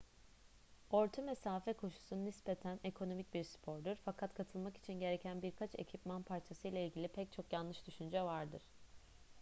orta mesafe koşusu nispeten ekonomik bir spordur fakat katılmak için gereken birkaç ekipman parçasıyla ilgili pek çok yanlış düşünce vardır